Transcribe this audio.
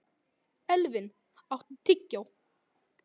Elvin, áttu tyggjó?